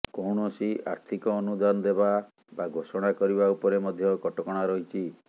କୌଣସି ଆର୍ଥିକ ଅନୁଦାନ ଦେବା ବା ଘୋଷଣା କରିବା ଉପରେ ମଧ୍ୟ କଟକଣା ରହିଛି